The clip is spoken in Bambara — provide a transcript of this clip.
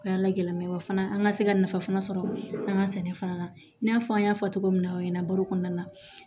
O y'a la gɛlɛma ye wa fana an ka se ka nafa fana sɔrɔ an ka sɛnɛ fana na i n'a fɔ an y'a fɔ cogo min na aw ɲɛna baro kɔnɔna na